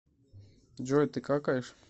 джой ты какаешь